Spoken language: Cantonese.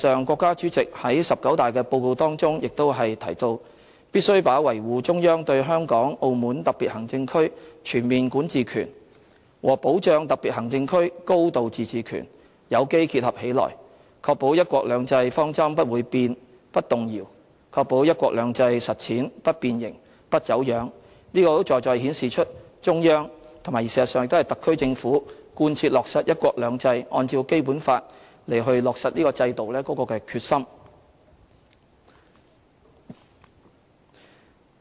國家主席在"十九大"的報告當中亦提到："必須把維護中央對香港、澳門特別行政區全面管治權和保障特別行政區高度自治權有機結合起來，確保'一國兩制'方針不會變、不動搖，確保'一國兩制'實踐不變形、不走樣"，這實在顯示出中央和特區政府貫切落實"一國兩制"，按照《基本法》落實制度的決心。